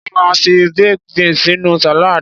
Wón máa ń fi baked beans sínú salad.